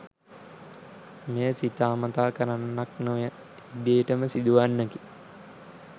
මෙය සිතා මතා කරන්නක් නොව ඉබේටම සිදුවන්නකි.